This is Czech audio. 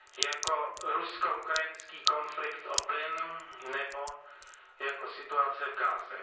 jako rusko ukrajinský konflikt o plyn nebo jako situace v Gaze.